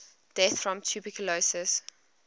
deaths from tuberculosis